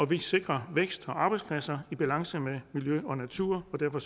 vi sikrer vækst og arbejdspladser i balance med miljø og natur og derfor